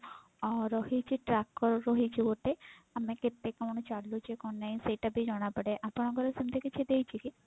ଅ ରହିଛି tracker ରହିଛି ଗୋଟେ ଆମେ କେତେ କଣ ଚାଲୁଛେ କଣ ନାଇଁ ସେଟା ବି ଜଣା ପଡେ ଆପଣଙ୍କର ସେମତି କିଛି ଦେଇଛି କି?